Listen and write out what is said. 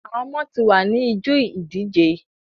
Àwọn ọmọ tí wá ni ijó ìdíje.